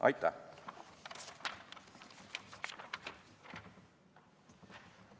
Aitäh!